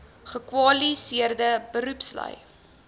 gekwali seerde beroepslui